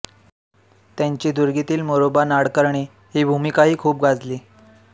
त्यांची दुर्गीतील मोरोबा नाडकर्णी ही भूमिकाही खूप गाजली